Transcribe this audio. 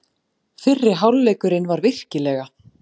Fyrri hálfleikurinn var virkilega.